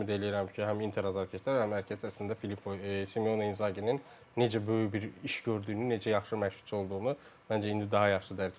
Ümid eləyirəm ki, həm Inter azarkeşlər, həm hər kəs əslində Simone İnzaqinin necə böyük bir iş gördüyünü, necə yaxşı məşqçi olduğunu məncə indi daha yaxşı dərk eləyəcəklər.